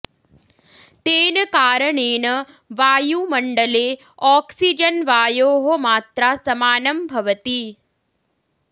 तेन कारणेन वायुमण्डले ऑक्सीजन् वायोः मात्रा समानं भवति